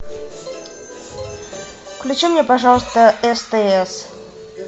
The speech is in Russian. включи мне пожалуйста стс